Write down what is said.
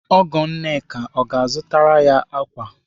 Ọgọ Nneka ọ ga-azụtara ya ukwu ákwà?